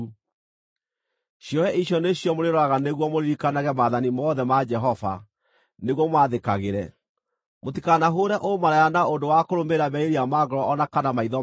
Ciohe icio nĩcio mũrĩroraga nĩguo mũririkanage maathani mothe ma Jehova, nĩguo mũmathĩkagĩre, mũtikanahũũre ũmaraya na ũndũ wa kũrũmĩrĩra merirĩria ma ngoro o na kana maitho manyu.